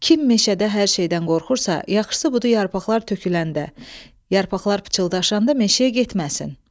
Kim meşədə hər şeydən qorxursa, yaxşısı budur yarpaqlar töküləndə, yarpaqlar pıçıldaşanda meşəyə getməsin.